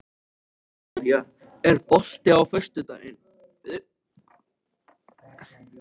Sivía, er bolti á föstudaginn?